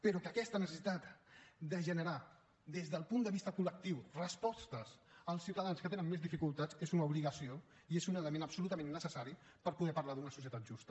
però que aquesta necessitat de generar des del punt de vista col·lectiu respostes als ciutadans que tenen més dificultats és una obligació i és un element absolutament necessari per poder parlar d’una societat justa